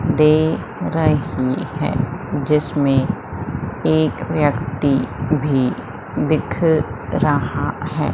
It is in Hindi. दे रही है जिसमें एक व्यक्ति भी दिख रहा है।